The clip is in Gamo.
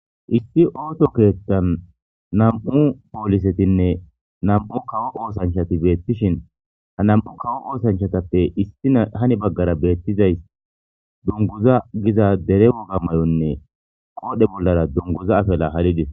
Issi ooto keethtan nam'u poolisetinne nam'u kawo oosanchati beettishin ha nam'u kawo oosanchatappe issi hani baggara beettizays dunguza giza dere woga mayonne qoodhe bollara dunguza afela halidis.